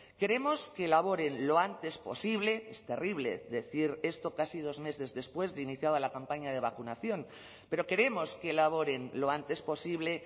queremos que elaboren lo antes posible es terrible decir esto casi dos meses después de iniciada la campaña de vacunación pero queremos que elaboren lo antes posible